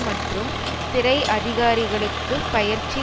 மற்றும் சிறை அதிகாரிகளுக்குப் பயிற்சி